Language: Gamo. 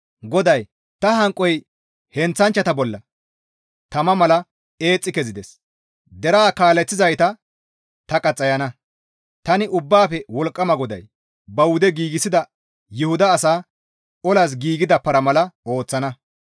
GODAY, «Ta hanqoy heenththachchata bolla tama mala eexxi kezides. Deraa kaaleththizayta ta qaxxayana. Tani Ubbaafe Wolqqama GODAY ba wude gidida Yuhuda asaa olas giigida para mala ooththana.